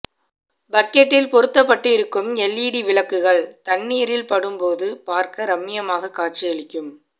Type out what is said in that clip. பக்கெட்டில் பொருத்தப்பட்டிருக்கும் எல்ஈடி விளக்குகள் தண்னீரில் படும் போது பார்க்க ரம்மியமாக காட்சியளிக்கும்